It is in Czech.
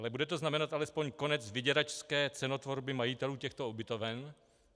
Ale bude to znamenat alespoň konec vyděračské cenotvorby majitelů těchto ubytoven?